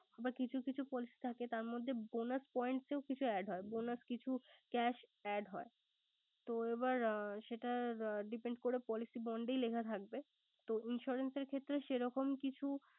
এবার কিছু~কিছু policy থাকে তার bonus point এ কিছু add হয়। Bonus কিছু cash add হয়। তো এবার এ সেটা এ depend করে policy bond ই লেখা থাকবে। তো insurance এর ক্ষেত্রে সেরকম কিছু